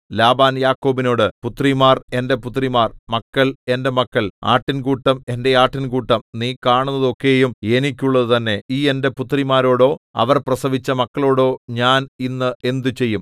Laban യാക്കോബിനോട് പുത്രിമാർ എന്റെ പുത്രിമാർ മക്കൾ എന്റെ മക്കൾ ആട്ടിൻകൂട്ടം എന്റെ ആട്ടിൻകൂട്ടം നീ കാണുന്നതൊക്കെയും എനിക്കുള്ളതുതന്നെ ഈ എന്റെ പുത്രിമാരോടോ അവർ പ്രസവിച്ച മക്കളോടോ ഞാൻ ഇന്ന് എന്ത് ചെയ്യും